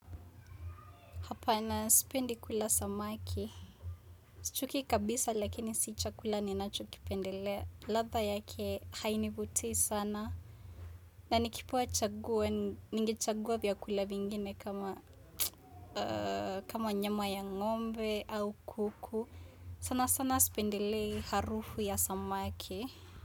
Hapana sipendi kula samaki. Chuki kabisa lakini si chakula ninachokipendelea. Ladha yake hainivutii sana. Na nikipewa chaguo, ningechagua vyakula vingine kama kama nyama ya ngombe au kuku. Sana sana sipendelei harufu ya samaki.